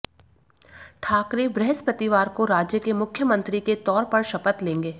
ठाकरे बृहस्पतिवार को राज्य के मुख्यमंत्री के तौर पर शपथ लेंगे